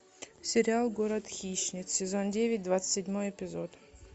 сериал город хищниц сезон девять двадцать седьмой эпизод